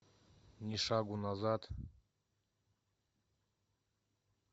ни шагу назад